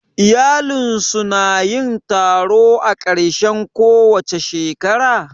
Iyalinsu su na yin taro a ƙarshen kowace shekara?